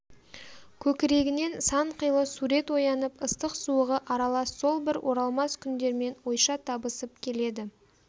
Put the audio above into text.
көкірегінен санқилы сурет оянып ыстық-суығы аралас сол бір оралмас күндермен ойша табысып келеді